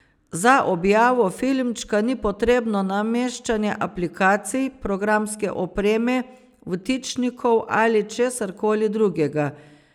Za objavo filmčka ni potrebno nameščanje aplikacij, programske opreme, vtičnikov ali česarkoli drugega.